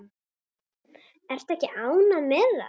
Ertu ekki ánægð með það?